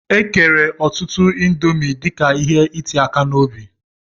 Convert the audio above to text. E kere ọtụtụ índomi dika ihe iti aka n'obi.